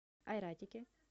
айратике